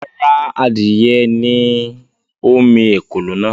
Rárá, adìrẹ ni ó mi “ ekòló” náà.